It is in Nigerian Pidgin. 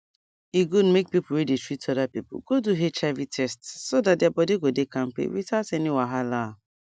e good make people wey dey treat other people go do hiv test so that their body go dey kampe without any wahala